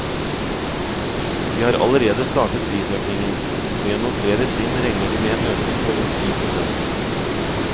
De har allerede startet prisøkningen, og gjennom flere trinn regner de med en økning på rundt ti prosent.